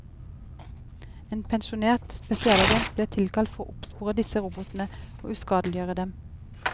En pensjonert spesialagent blir tilkalt for å oppspore disse robotene og uskadeliggjøre dem.